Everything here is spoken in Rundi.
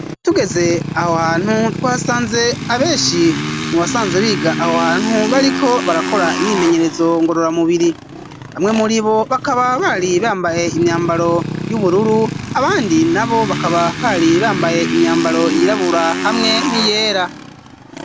tugeze aho hantu twasanze abeshi mu basanzwe biga aho hantu bariko barakora imyimenyerezo ngororamubiri, bamwe muri bo bakaba bari bambaye imyambaro y'ubururu abandi na bo bakaba bari bambaye imyambaro yirabura hamwe n,iyera.